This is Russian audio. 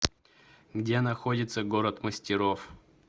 где находится город мастеров